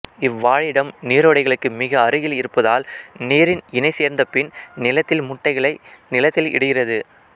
இவ்வாழிடம் நீரோடைகளுக்கு மிக அருகில் இருப்பதால் நீரில் இணை சேர்ந்தபின் நிலத்தில் முட்டைகளை நிலத்தில் இடுகிறது